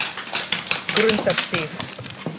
Grundarstíg